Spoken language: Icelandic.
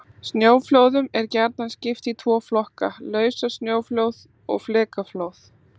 Snjóflóðum er gjarnan skipt í tvo flokka: Lausasnjóflóð og flekaflóð.